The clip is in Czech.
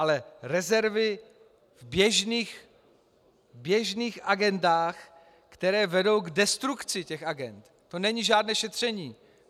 Ale rezervy v běžných agendách, které vedou k destrukci těch agend, to není žádné šetření.